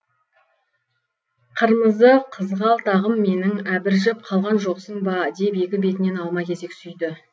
қырмызы қызғалтағым менің әбіржіп қалған жоқсын ба деп екі бетінен алма кезек сүйді